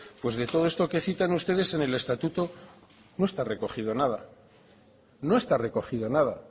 pues de todo esto que citan ustedes en el estatuto no está recogido nada no está recogido nada